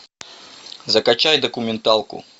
закачай документалку